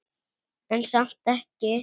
En samt ekki.